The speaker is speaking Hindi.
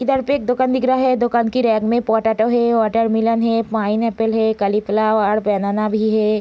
इधर पे एक दुकान दिख रहा है | दुकान की रैक में पोटैटो है वाटरमैलन है पाइनएप्पल है कॉलीफ्लॉवर और बनाना भी है ।